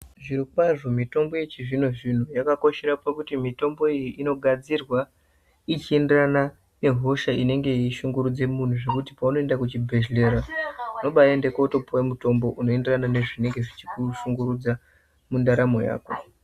Zvirokwazvo mitombo yechizvino-zvino yakakoshera pakuti mitombo iyi inogadzirwa ichienderana nehosha inenge yeishungurudza munhu zvekuti paunoende kuchibhedhleya unobaende kutopuwe mutombo unenge weienderana nezvinenge zvichikushungurudza mundaramo yako.